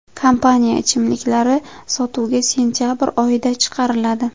Kompaniya ichimliklari sotuvga sentabr oyida chiqariladi.